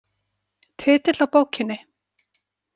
Titill á bókinni?